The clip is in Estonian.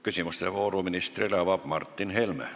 Küsimuste vooru avab Martin Helme.